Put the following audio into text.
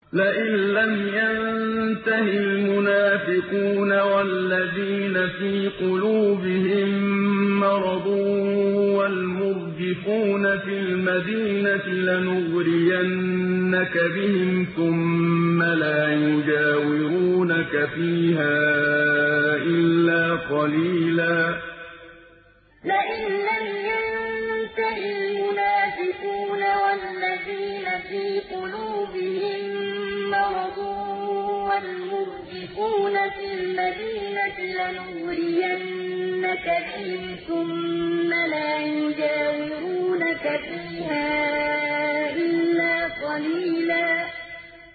۞ لَّئِن لَّمْ يَنتَهِ الْمُنَافِقُونَ وَالَّذِينَ فِي قُلُوبِهِم مَّرَضٌ وَالْمُرْجِفُونَ فِي الْمَدِينَةِ لَنُغْرِيَنَّكَ بِهِمْ ثُمَّ لَا يُجَاوِرُونَكَ فِيهَا إِلَّا قَلِيلًا ۞ لَّئِن لَّمْ يَنتَهِ الْمُنَافِقُونَ وَالَّذِينَ فِي قُلُوبِهِم مَّرَضٌ وَالْمُرْجِفُونَ فِي الْمَدِينَةِ لَنُغْرِيَنَّكَ بِهِمْ ثُمَّ لَا يُجَاوِرُونَكَ فِيهَا إِلَّا قَلِيلًا